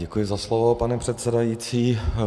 Děkuji za slovo, pane předsedající.